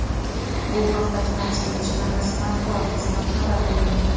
Bu haqda Fransiya elchixonasi matbuot xizmati xabar bermoqda .